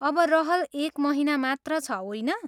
अब रहल एक महिना मात्र छ, होइन?